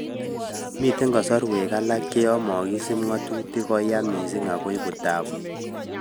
Miten kasarwek alak che yon mokisip ngotutik ko ya kot missing ago ipu taapu.